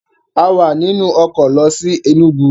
A wà nínú ọkọ̀ lọ sí Ẹnúgu